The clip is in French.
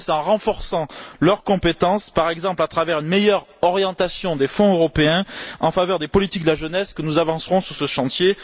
Eh bien, c'est en renforçant leurs compétences, par exemple à travers une meilleure orientation des fonds européens en faveur des politiques de la jeunesse, que nous avancerons sur ce chantier.